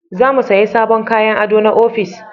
Za mu saya sabon kayan ado na ofis